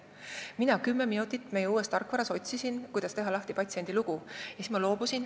Mina otsisin meie uuest tarkvarast kümme minutit, kuidas teha lahti patsiendi lugu, siis ma loobusin.